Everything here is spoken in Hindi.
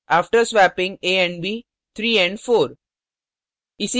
after swapping a and b 3 and 4